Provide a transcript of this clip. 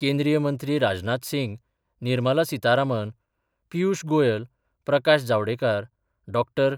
केंद्रीयमंत्री Rajnath Singh, Nirmala Sitharaman, Piyush Goyal, Prakash Javadekar, Dr.